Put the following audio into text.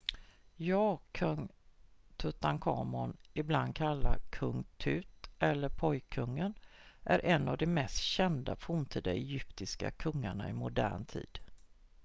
"ja! kung tutankhamun ibland kallad "kung tut" eller "pojkkungen" är en av de mest kända forntida egyptiska kungarna i modern tid.